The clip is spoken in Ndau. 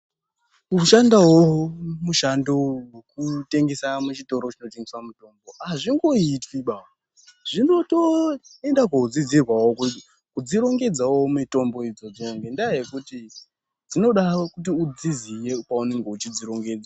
Kushandawo mushando wokutengesa muchitoro chinotengesa mitombo azvingoitwibaa zvinotoenda kodzidzirwawo kudzi rongedzawo mitombo idzodzo ngenya yekuti dzinoda kuti udziziye paunenge wechi dzirongedza.